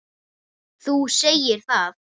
Þú segir það!